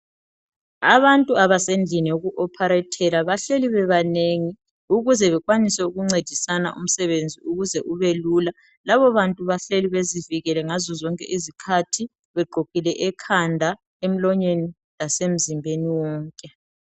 abantu abesendlini yoku opharethela bahleli bebanengi ukuze bekwanise ukuncedisana umsebenzi ukuze ube lula labo bantu bahleli bezivikele ngazo zonke izikhathi begqokile ekhanda emlonyeni lase mzimbeni wonke